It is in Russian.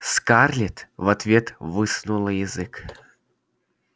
скарлетт в ответ высунула язык